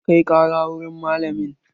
Kai ƙara wurin malamin!